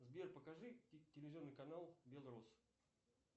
сбер покажи телевизионный канал белрос